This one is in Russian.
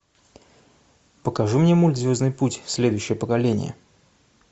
покажи мне мульт звездный путь следующее поколение